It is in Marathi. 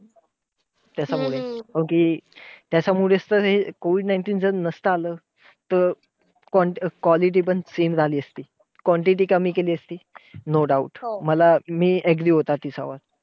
त्याच्यामुळे अं कि हम्म COVID nineteen जर नसत आलं. तर quality पण same आली असती. quantity त्यांनी केली असती. no doubt हो मी agree होता त्याच्यावर.